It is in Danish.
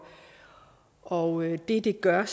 og det det gør